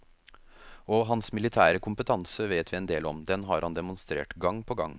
Og hans militære kompetanse vet vi en del om, den har han demonstrert gang på gang.